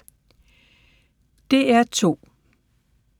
DR2